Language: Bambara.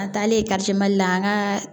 An taalen kariti mali la an ka